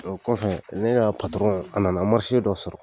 Ɔ kɔfɛ ne y'a patɔrɔn a nana marise dɔ sɔrɔ